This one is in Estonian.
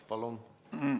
Palun!